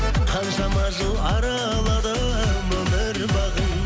қаншама жыл араладым өмір бағын